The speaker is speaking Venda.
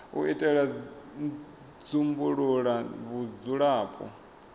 u itela u dzumbulula vhudzulapo